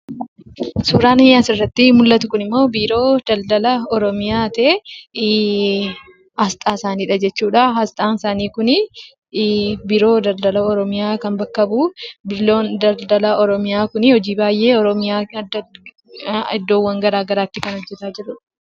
Suuraan asirratti argaa jirru kunimmoo, biiroo daldala Oromiyaa ta'ee aasxaa isaaniidha jechuudha. Aasxaan isaanii kun biiroo daldala oromiyaa kan bakka bu'u biiroon daldala oromiyaa kun hojii baay'ee oromiyaaf addatti iddoo baay'eetti hojiiwwan garaagaraa kan hojjataa jirudha.